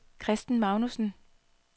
Christen Magnussen